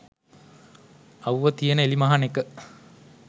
අව්ව තියෙන එලිමහනක